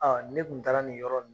ne kun taara nin yɔrɔ nin